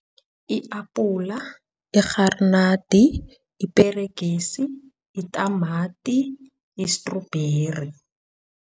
I-apula, irharinadi, iperegisi, itamati, istrubheri.